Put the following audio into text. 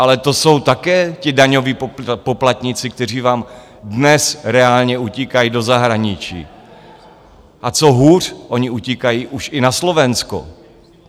Ale to jsou také ti daňoví poplatníci, kteří vám dnes reálně utíkají do zahraničí, a co hůř, oni utíkají už i na Slovensko.